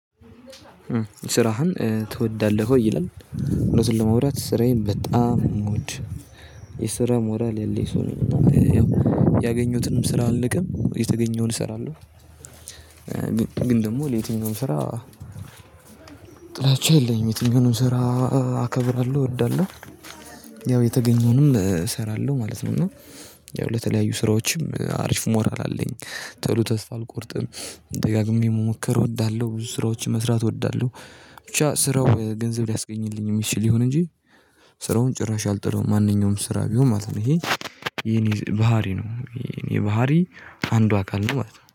ስራህን ትወዳለህ? ወይ ይላል ለማውራት ስራዬን በጣም ነው ምወድ የስራ ሞራል ያለኝ ሰው ነው ነኝ እና ያገኘሁትንም ስራ አልንቅም የተገኘውን እሰራለሁ ግን ደግሞ ለየትኛውም ስራ ጥላቻ የለኝም የትኛውም ስራ አከብራለሁ፣ እወዳለሁ ያው የተገኘውንም እሰራለሁ ማለት ነው እና ያው ለተለያዩ ስራዎችም አሪፍ ሞራል አለኝ ተሎ ተስፋ አልቆርጥም፣ ደጋግሜ መሞከር እወዳለሁ፣ ብዙ ስራዎችን መስራት እወዳለሁ፣ ብቻ ስራው ገንዘብ ሊያስገኝልኝ የሚችል ይሁን እንጂ ስራውን ጭራሽ አልጠለውም ማንኛውም ስራ ቢሆን ማለት ነው ይሄ የኔ ባህሪ ነው የኔ ባህሪ አንዷ አካል ነው ማለት ነው።